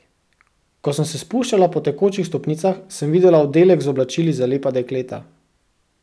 Ko sem se spuščala po tekočih stopnicah, sem videla oddelek z oblačili za lepa dekleta.